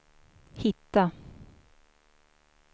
hitta